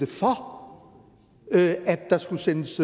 for at der skulle sendes